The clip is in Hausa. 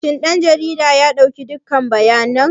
Shin ɗan jarida ya ɗauki dukkan bayanan?